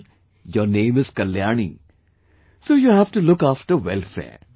Well, your name is Kalyani, so you have to look after welfare